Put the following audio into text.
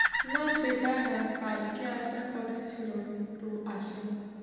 না সেটা না। কালকে আসার কথা ছিল কিন্তু আসেনি।